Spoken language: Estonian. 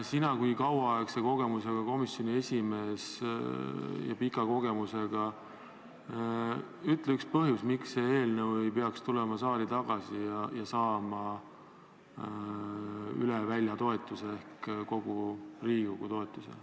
Sina kui kauaaegse kogemusega komisjoni esimees, ütle üks põhjus, miks see eelnõu ei peaks tulema saali tagasi ja saama üle välja toetuse ehk kogu Riigikogu toetuse.